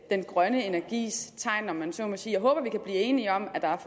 grønne energis tegn om man så må sige jeg håber vi kan blive enige om at der er